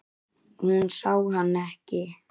Hún sá hann ekki.